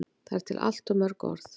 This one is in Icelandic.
Það eru til allt of mörg orð.